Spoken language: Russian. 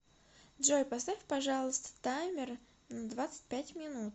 джой поставь пожалуйста таймер на двадцать пять минут